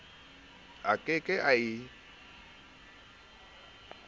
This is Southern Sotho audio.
a ke ke a e